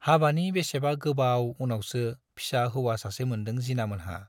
हाबानि बेसेबा गोबाव उनावसो फिसा हौवा सासे मोनदों जिनामोनहा।